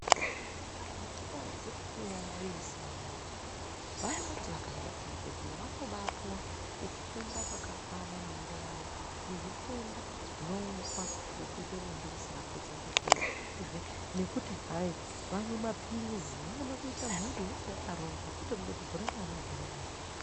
Anhu akadzi ne aisi awo vanoti vakaenda ku zvibhedhlera vanobai puwa kufunda kwaka kwana maererano ngezvi tenda zvino unzwa ngekuite bonde risina ku chengetedzedzwa uyezve nekuti hai vamwe mapilisi vaone kuita mhuri inenge yakarongwa kwete kuti gore mwana gore mwana.